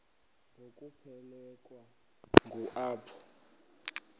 ngokuphelekwa ngu apho